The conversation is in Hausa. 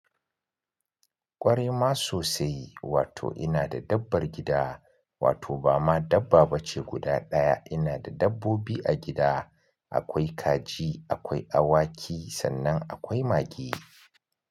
Ƙwarai ma sosai, wato ina da dabbar gida, wato ba ma dabba ba ce guda ɗaya. Ina da dabbobi a gida, akwai kaji, akwai awaki sannan akwai mage.